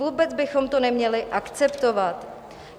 Vůbec bychom to neměli akceptovat.